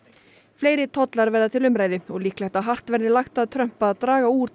fleiri tollar verða til umræðu og líklegt að hart verði lagt að Trump að draga úr